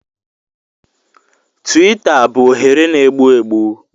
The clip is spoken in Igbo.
Tiwita bụ oghere na-egbu egbu.